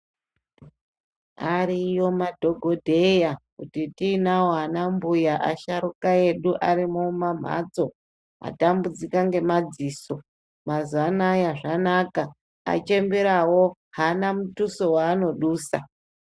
Ariyo madhokodheya atinawo anambuya asharuka arimo mumamhatso atambudzika ngemadziso mazuwa anaya zvanaka achemberawo haana muduso waanodusa.